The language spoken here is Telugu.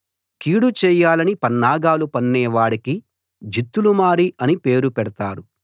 కీడు చేయాలని పన్నాగాలు పన్నే వాడికి జిత్తులమారి అని పేరు పెడతారు